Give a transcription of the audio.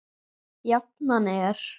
Jafnan er